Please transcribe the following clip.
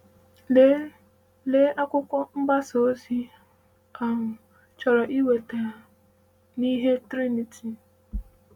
“Lee “Lee akwụkwọ mgbasa ozi ‘Ị um Chọrọ Ịkweta N’ihe Triniti?’”